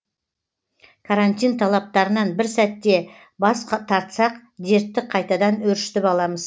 карантин талаптарынан бір сәтте бас тартсақ дертті қайтадан өршітіп аламыз